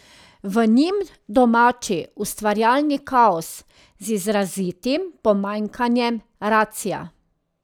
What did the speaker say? V njim domači ustvarjalni kaos, z izrazitim pomanjkanjem racia.